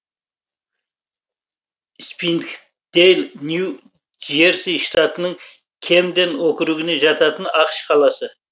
спрингдэйл нью джерси штатының кэмден округіне жататын ақш қаласы